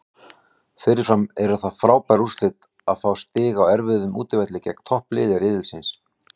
Fyrirfram eru það frábær úrslit að fá stig á erfiðum útivelli gegn toppliði riðilsins.